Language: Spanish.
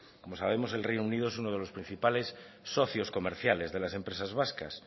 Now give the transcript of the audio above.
como sabemos el reino unido es uno de los principales socios comerciales de las empresas vascas